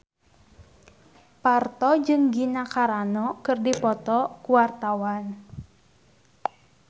Parto jeung Gina Carano keur dipoto ku wartawan